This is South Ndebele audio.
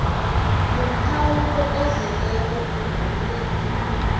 nomkhawulo ozeleko womnyaka